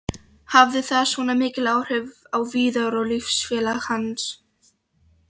Hafði það svona mikil áhrif á Viðar og liðsfélaga hans?